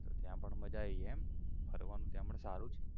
તો ત્યાં પણ મજા આઈ એમ ફરવાનું ત્યાં પણ સારું છે